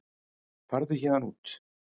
Farðu héðan út.